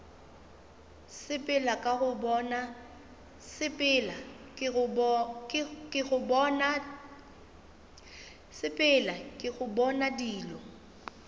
sepela ke go bona dilo